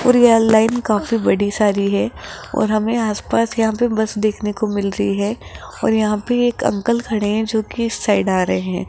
और यहां लाइन काफी बड़ी सारी है और हमें आसपास यहां पे बस देखने को मिल रही है और यहां पे एक अंकल खड़े हैं जो की इस साइड आ रहे हैं।